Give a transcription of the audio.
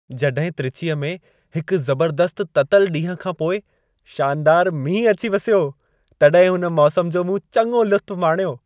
जॾहिं त्रिचीअ में हिक ज़बर्दस्त ततल ॾींहुं खां पोइ शानदारु मींहुं अची वसियो, तॾहिं हुन मौसम जो मूं चङो लुत्फ़ु माणियो।